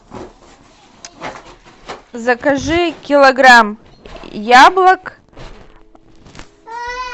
закажи килограмм яблок